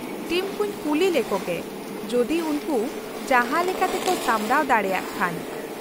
-Team ᱠᱩᱧ ᱠᱩᱞᱤ ᱞᱮᱠᱚ ᱜᱮ ᱡᱩᱫᱤ ᱩᱱᱠᱩ ᱡᱟᱦᱟᱸᱞᱮᱠᱟᱛᱮ ᱠᱚ ᱥᱟᱢᱵᱲᱟᱣ ᱫᱟᱲᱮᱭᱟᱜ ᱠᱷᱟᱱ ᱾